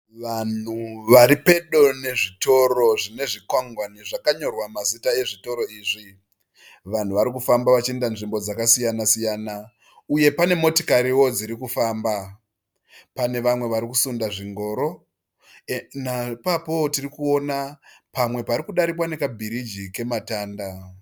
Vanhu vari pedo nezvitoro zvine zvikwangwani zvakanyorwa mazita ezvitiro izvi. Vanhu vari kufamba vachienda nzvimbo dzakasiyana-siyana uye pane motikariwo dziri kufamba. Pane vamwe vari kusunda zvingoro. Ipapowo tiri kuona pamwe pari kudarikwa nekabiriji kematanda.